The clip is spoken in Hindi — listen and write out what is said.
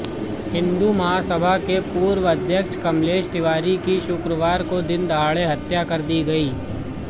हिंदू महासभा के पूर्व अध्यक्ष कमलेश तिवारी की शुक्रवार को दिनदहाड़े हत्या कर दी गई